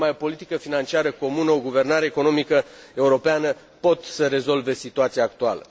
Numai o politică financiară comună și o guvernare economică europeană pot să rezolve situația actuală.